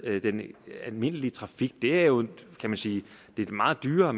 med den almindelige trafik det er jo kan man sige meget dyrere